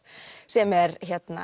sem er